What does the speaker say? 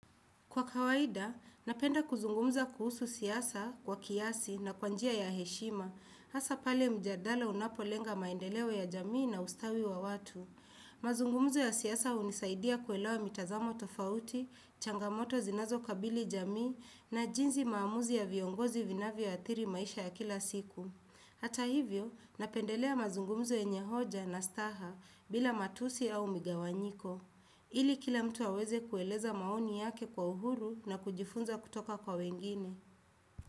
Kwa kawaida, napenda kuzungumza kuhusu siasa kwa kiasi na kwa njia ya heshima, hasa pale mjadala unapolenga maendeleo ya jamii na ustawi wa watu. Mazungumzo ya siasa hunisaidia kuelewa mitazamo tofauti, changamoto zinazo kabili jamii na jinzi maamuzi ya viongozi yanavyoathiri maisha ya kila siku. Hata hivyo, napendelea mazungumzo yenye hoja na staha bila matusi au migawanyiko. Ili kila mtu aweze kueleza maoni yake kwa uhuru na kujifunza kutoka kwa wengine.